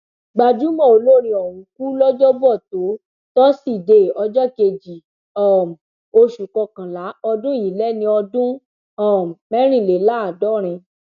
gbajúmọ olórin ọhún kú lọjọbọtò tọsídẹẹ ọjọ kejì um oṣù kọkànlá ọdún yìí lẹni ọdún um mẹrìnléláàádọrin